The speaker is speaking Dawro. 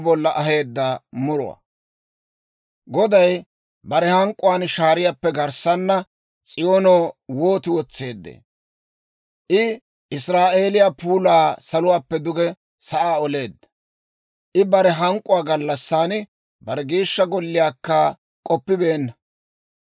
Goday bare hank'k'uwaan shaariyaappe garssana S'iyoono wooti wotseeddee! I Israa'eeliyaa puulaa saluwaappe duge sa'aa oleedda. I bare hank'k'uwaa gallassan bare Geeshsha Golliyaakka k'oppibeenna.